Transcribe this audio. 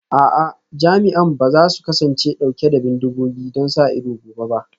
A'a, jami'an ba za su kasance dauke da bindigogi don sa ido gobe ba